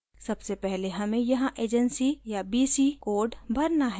सबसे पहले हमें यहाँ एजेंसी/बीसी कोड भरना है